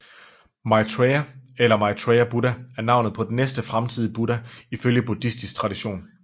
Maitreya eller Maitreya Buddha er navnet på den næste fremtidige Buddha ifølge buddhistisk tradition